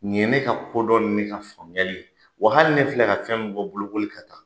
Nin ye ne ka kodɔn ni ne ka faamuyali ye wa hali ne filɛ ka fɛn min fɔ bolokoli kan tan.